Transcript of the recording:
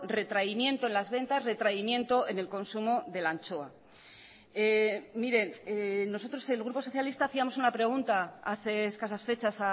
retraimiento en las ventas retraimiento en el consumo de la anchoa miren nosotros el grupo socialista hacíamos una pregunta hace escasas fechas